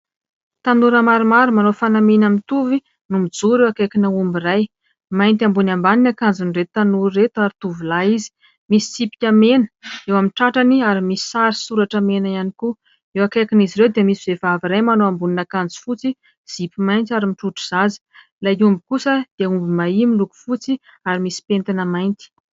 Tanora maromaro manao fanamiana mitovy no mijoro eo akaikina omby iray. Mainty ambony ambany ny ankanjon'ireto tanora ireto ary tovolahy izy. Misy tsipika mena eo amin'ny tratrany ary misy sary soratra mena ihany koa. Eo akaikin' izy ireo dia misy vevavy iray manao amboninan' akanjo fotsy zipo mainty ary mitrotro zaza ilay omby kosa dia omby mahia miloko fotsy ary misy pentina mainty.